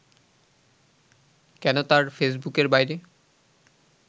কেন তার ফেসবুকের বাইরে